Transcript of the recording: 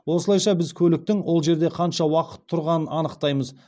осылайша біз көліктің ол жерде қанша уақыт тұрғанын анықтаймыз